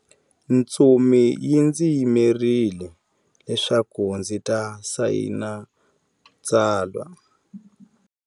Ntsumi yi ndzi yimerile leswaku ndzi ta sayina tsalwa.